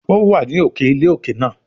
ó wà ní òkè ilé òkè náà.